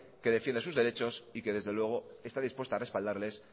que defiende sus derechos y que desde luego está dispuesta a respaldarles